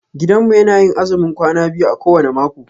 Gidanmu yana yin azumin kwana biyu a kowane mako.